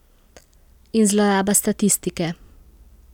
In zloraba statistike.